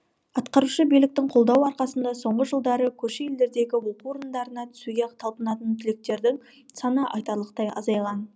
атқарушы биіліктің қолдауы арқасында соңғы жылдары көрші елдердегі оқу орындарына түсуге талпынатын түлектердің саны айтарлықтай азайған